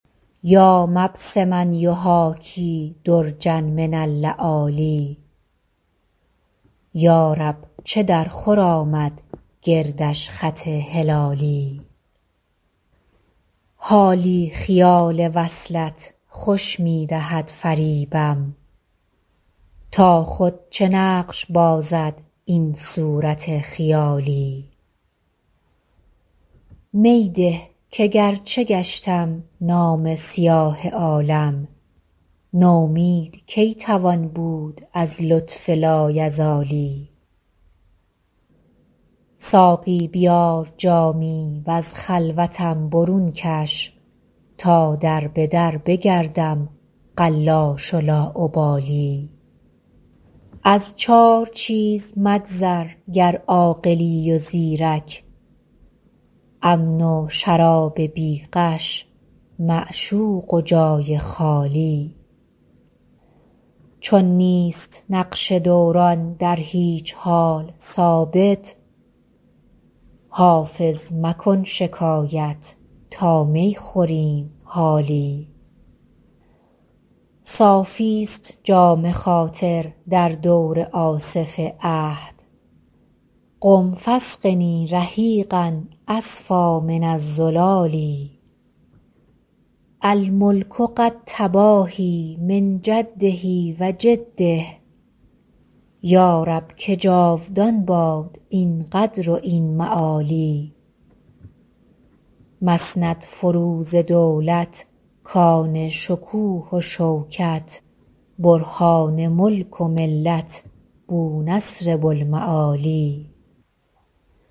یا مبسما یحاکی درجا من اللآلی یا رب چه درخور آمد گردش خط هلالی حالی خیال وصلت خوش می دهد فریبم تا خود چه نقش بازد این صورت خیالی می ده که گرچه گشتم نامه سیاه عالم نومید کی توان بود از لطف لایزالی ساقی بیار جامی و از خلوتم برون کش تا در به در بگردم قلاش و لاابالی از چار چیز مگذر گر عاقلی و زیرک امن و شراب بی غش معشوق و جای خالی چون نیست نقش دوران در هیچ حال ثابت حافظ مکن شکایت تا می خوریم حالی صافیست جام خاطر در دور آصف عهد قم فاسقني رحیقا أصفیٰ من الزلال الملک قد تباهیٰ من جده و جده یا رب که جاودان باد این قدر و این معالی مسندفروز دولت کان شکوه و شوکت برهان ملک و ملت بونصر بوالمعالی